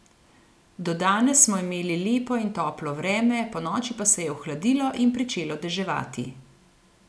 Do danes smo imeli lepo in toplo vreme, ponoči pa se je ohladilo in pričelo deževati.